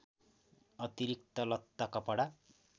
अतिरिक्त लत्ता कपडा